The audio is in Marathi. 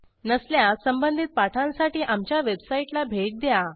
नसल्यास संबंधित पाठांसाठी आमच्या वेबसाईटला भेट द्या